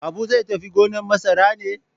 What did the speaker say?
Habu zai tafi gonar masara ne?